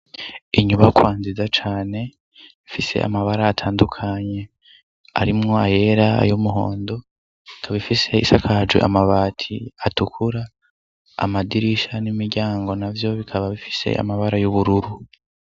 Inyubakwa nzida cane mfise amabara atandukanye arimwo ayera ayo umuhondo kabaifise isakaje amabati atukura amadirisha n'imiryango na vyo bikaba bifise amabara y'ubururu.